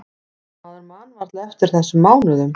Maður man varla eftir þessum mánuðum.